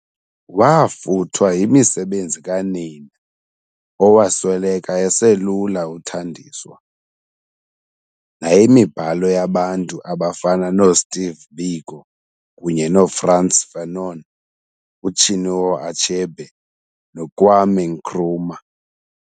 Waafuthwa yimisebenzi kanina, owasweleka eselula uthandiswa, nayimibhalo yabantu abafana noo Steve Biko kunye noFrantz Fanon, uChinua Achebe noKwame Nkrumah.